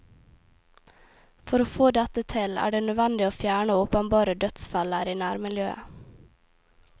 For å få dette til, er det nødvendig å fjerne åpenbare dødsfeller i nærmiljøet.